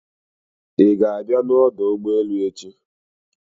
Ị ga-abịa n'ọdọ ụgbọelu echi?